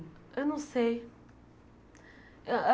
Eu não sei. Ah ah